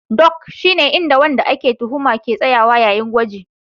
Dock shine inda wadanda ake tuhuma ke tsayawa yayin gwaji